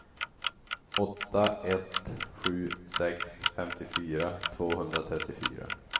åtta ett sju sex femtiofyra tvåhundratrettiofyra